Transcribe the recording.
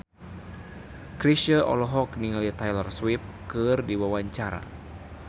Chrisye olohok ningali Taylor Swift keur diwawancara